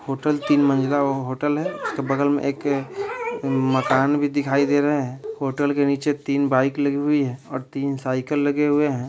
Hotel तीन मंजिला hotel है उसके बगल में एक मकान भी दिखाई दे रहा है होटल के नीचे तीन बाइक लगी हुई हैं और तीन साइकिल लगे हुए हैं।